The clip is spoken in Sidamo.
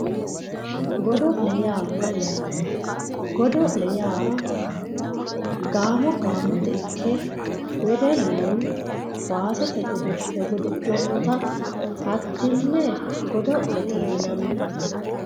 godo'le yaa mayyaate? godo'le yaa gaamo gaamote ikke wedellu kaaste godo'le godo'lannota hattenne godo'lete yinanni